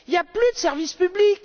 Il n'y a plus de service public.